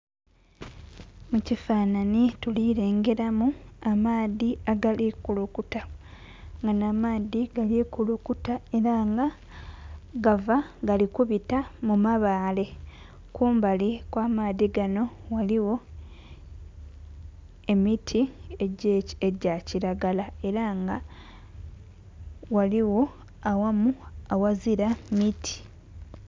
Mu kifanhanhi tuli lengeramu amaadhi agali kulukuta. Gano amaadhi gali kulukuta era nga gava... gali kubita mu mabaale kumbali kw'amaadhi gano ghaligho emiti egya kiragala era nga ghaligho awamu aghazira miti.